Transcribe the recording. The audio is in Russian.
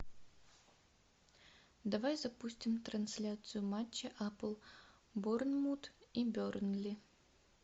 давай запустим трансляцию матча апл борнмут и бернли